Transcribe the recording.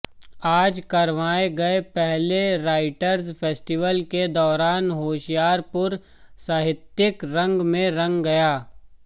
आज करवाए गये पहले राइटर्स फेस्टिवल के दौरान होशियारपुर साहित्यिक रंग में रंग गया